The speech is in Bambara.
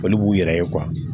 Olu b'u yɛrɛ ye